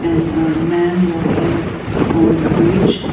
and a man walking on the bridge.